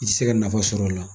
I tɛ se ka nafa sɔrɔla o la.